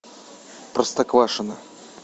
простоквашино